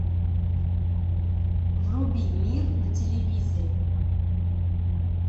вруби мир на телевизоре